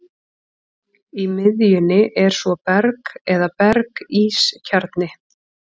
Í miðjunni er svo berg eða berg-ís kjarni.